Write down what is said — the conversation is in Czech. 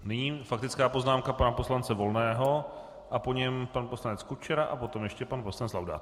Nyní faktická poznámka pana poslance Volného a po něm pan poslanec Kučera a potom ještě pan poslanec Laudát.